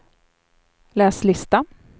läs lista